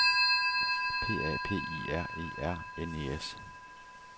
P A P I R E R N E S